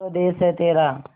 स्वदेस है तेरा